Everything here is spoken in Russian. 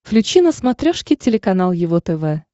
включи на смотрешке телеканал его тв